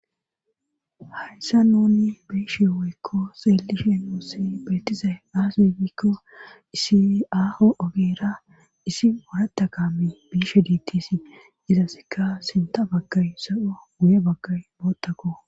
Hayssa nouni biishe woykko seelishe moossi betizay aasbikko isi aaho ogeera isi maratta kami biishe diittisi izasseka sinta baggay so7o guye baggay boottakko.